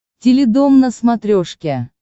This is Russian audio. теледом на смотрешке